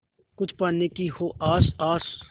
कुछ पाने की हो आस आस